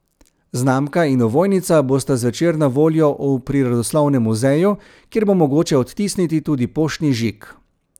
Znamka in ovojnica bosta zvečer na voljo v Prirodoslovnem muzeju, kjer bo mogoče odtisniti tudi poštni žig.